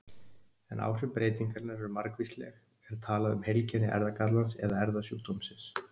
Ef áhrif breytingarinnar eru margvísleg er talað um heilkenni erfðagallans eða erfðasjúkdómsins.